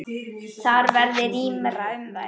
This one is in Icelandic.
Þar verði rýmra um þær.